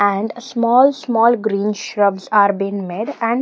And small small green shrubs are been made and --